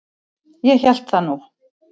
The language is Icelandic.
Ég hélt það nú!